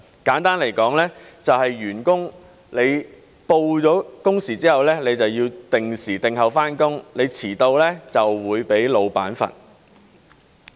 簡單來說，即是員工上報工時之後便要定時定候上班，遲到便會被老闆懲罰。